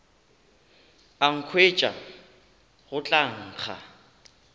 a nkhwetša go tla nkga